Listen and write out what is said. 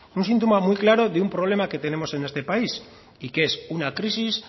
un síntoma muy claro de un problema que tenemos en este país y que es una crisis